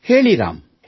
ಹೇಳಿ ರಾಮ್